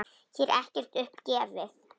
Hér er ekkert upp gefið.